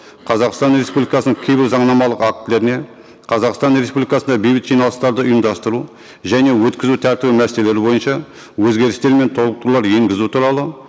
қазақстан республикасының кейбір заңнамалық актілеріне қазақстан республикасында бейбіт жиналыстарды ұйымдастыру және өткізу тәртібі мәселелері бойынша өзгерістер мен толықтырулар енгізу туралы